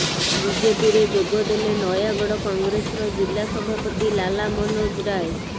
ବିଜେପିରେ ଯୋଗ ଦେଲେ ନୟାଗଡ଼ କଂଗ୍ରେସର ଜିଲ୍ଲା ସଭାପତି ଲାଲା ମନୋଜ ରାୟ